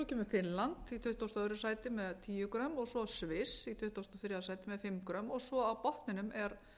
finnland í tuttugasta og öðru sæti með tíu g svo sviss í tuttugasta og þriðja sæti með fimm g svo á botninum er